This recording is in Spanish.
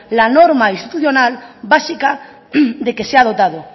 la norma institucional básica de que se ha dotado